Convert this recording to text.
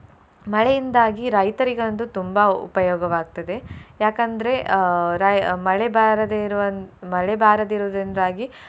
ಮಳೆಯಿಂದಾಗಿ ರೈತರಿಗಂತೂ ತುಂಬಾ ಉಪಯೋಗವಾಗ್ತದೆ. ಯಾಕಂದ್ರೆ ಅಹ್ ರ~ ಮಳೆ ಬಾರದೆ ಇರುವಂ~ ಮಳೆ ಬಾರದೆ ಇರುವುದ್ರಿಂದಾಗಿ.